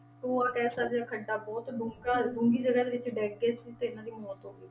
ਟੋਆ ਕਹਿ ਸਕਦੇ ਹਾਂ ਖੱਡਾ ਬਹੁਤ ਡੂੰਘਾ ਡੂੰਘੀ ਜਗਾ ਦੇ ਵਿੱਚ ਡਿੱਗ ਗਏ ਸੀ ਤੇ ਇਹਨਾਂ ਦੀ ਮੌਤ ਹੋ ਗਈ ਸੀ।